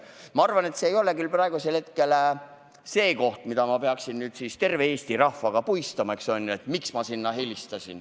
Ma arvan, et see, miks ma sinna helistasin, ei ole praegu teema, mida ma peaksin terve Eesti rahvaga jagama.